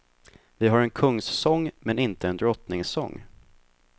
Vi har en kungssång, men inte en drottningssång.